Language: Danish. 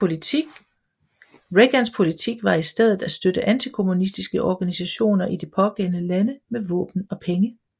Reagans politik var i stedet at støtte antikommunistiske organisationer i de pågældende lande med våben og penge